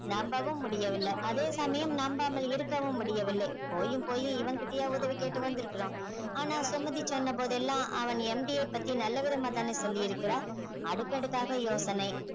நம்பவும் முடியவில்லை அதே சமயம் நம்பாமல் இருக்கவும் முடியவில்லை போயும் போயும் இவன் கிட்டயா உதவி கேட்டு வந்திருக்கிறோம் ஆனால் சுமதி சொன்னபோதெல்லாம் அவன் MD யை பத்தி நல்ல விதமா தான சொல்லி இருக்கிறாள் அடுக்கடுக்காக யோசனை